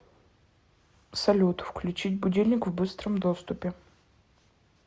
салют включить будильник в быстром доступе